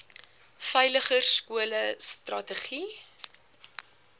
veiliger skole strategie